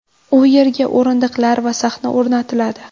U yerga o‘rindiqlar va sahna o‘rnatiladi.